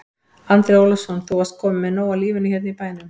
Andri Ólafsson: Þú varst kominn með nóg af lífinu hérna í bænum?